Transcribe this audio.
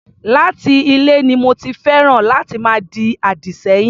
Láti ilè ni mo ti féràn láti máa di àdì sẹ́yìn.